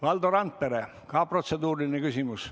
Valdo Randpere, samuti protseduuriline küsimus.